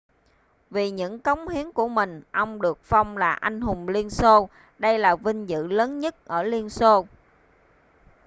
vì những công hiến của mình ông được phong là anh hùng liên xô đây là vinh dự lớn nhất ở liên xô